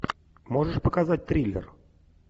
можешь показать триллер